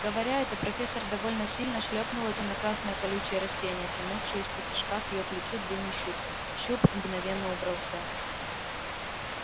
говоря это профессор довольно сильно шлёпнула тёмно-красное колючее растение тянувшее исподтишка к её плечу длинный щуп щуп мгновенно убрался